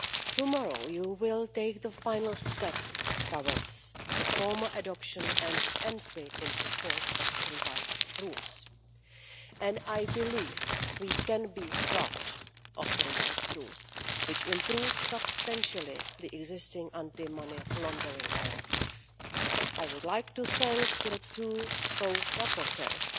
Tomorrow you will take the final step towards the formal adoption and entry into force of revised rules, and I believe we can be proud of the revised rules, which improve substantially the existing Anti Money Laundering Directive. I would like to thank the two co rapporteurs,